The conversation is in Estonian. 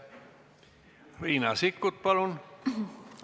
Riina Sikkut, palun!